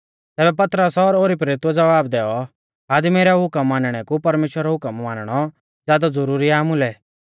तैबै पतरस और ओरी प्रेरितुऐ ज़वाब दैऔ आदमी रै हुकम मानणै कु परमेश्‍वरा रौ हुकम मानणौ ज़ादौ ज़ुरुरी आ आमुलै